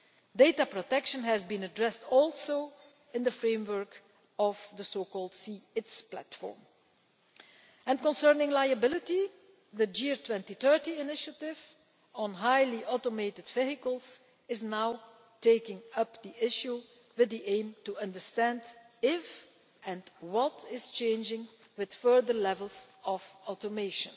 Data protection has been addressed also in the framework of the so called C ITS Platform. Concerning liability, the GEAR 2030 initiative on highly automated vehicles is now taking up the issue with the aim to understand if and what is changing with further levels of automation.